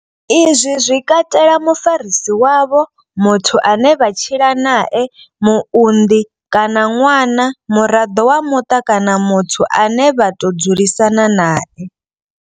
Izwi zwi katela mufarisi wavho, muthu ane vha tshila nae, muunḓi kana ṅwana, muraḓo wa muṱa kana muthu ane vha tou dzulisana nae.